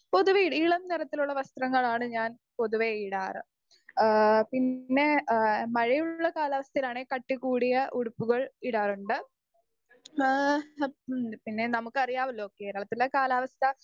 speaker 2 പൊതുവെ ഇളം നിറത്തിലുള്ള വസ്ത്രങ്ങളാണ് ഞാൻ പൊതുവെ ഇടാർ ഏഹ് പിന്നെ എഹ് മഴയുള്ള കാലാവസ്ഥയിലാണേൽ കട്ടി കൂടിയ ഉടുപ്പുകൾ ഇടാറുണ്ട് ഏഹ് പിന്നെ നമ്മുക്ക് അറിയാവലോ കേരളത്തിലെ കാലാവസ്ഥ